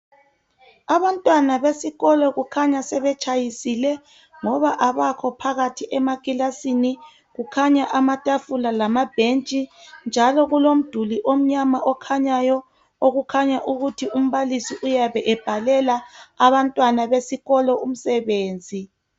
Abantwana besikolo kukhanya sebetshayisile ngoba abakho phakathi ekilasini kukhanya amatafula lama bhentshi njalo kulomduli omnyama okhanyayo okukhanya ukuthi umbalisi uyabe ebhalela abantwana besikolo umsebenzi.